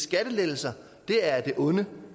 skattelettelser er af det onde